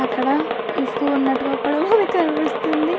అక్కడ ఇసుక ఉన్నట్టుగా కూడా మనకి కనిపిస్తుంది.